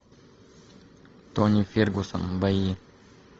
тони фергюсон бои